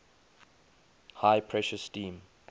high pressure steam